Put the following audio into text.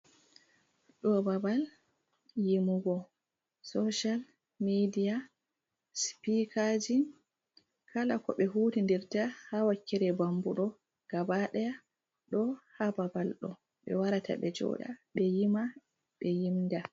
Ɗo babal yimugo socal midiya sipikaaji, kala ko ɓe hutinirta haa wakkere bambu ɗo gabadaya, ɗo haa babal ɗo, ɓe warata ,ɓe jooɗa ,be yima ɓe yimda.